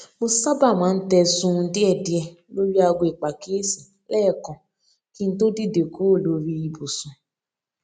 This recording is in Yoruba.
mo sábà máa ń tẹ sunun díẹdíẹ lórí aago ìpàkíyèsí léèkan kí n tó dìde kúrò lórí ibùsùn